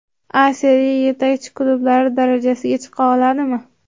A Seriya yetakchi klublari darajasiga chiqa oladimi?